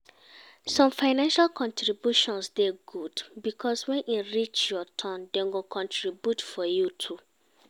Some financial contributions dey good because when e reach your turn dem go contribute for you too